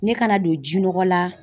Ne kana don ji nɔgɔ la